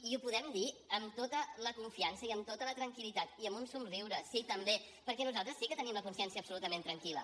i ho podem dir amb la tota la confiança i amb tota la tranquil·litat i amb un somriure sí també perquè nosaltres sí que tenim la consciència absolutament tranquil·la